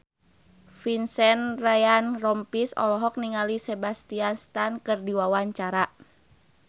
Vincent Ryan Rompies olohok ningali Sebastian Stan keur diwawancara